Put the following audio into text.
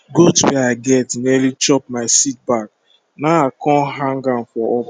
goat wey i get nearly chop my seed bag na i com hang ahm for up